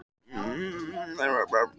Spurningin í heild sinni hljóðaði svo: